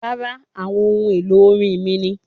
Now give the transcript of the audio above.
Rárá, àwọn ohun èlò orin mí ni